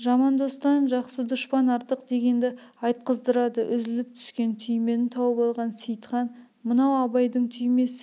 жаман достан жақсы дұшпан артық дегенді айтқыздырады үзіліп түскен түймені тауып алған сейітхан мынау абайдың түймесі